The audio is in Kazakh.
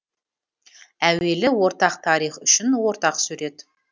әуелі ортақ тарих үшін ортақ сурет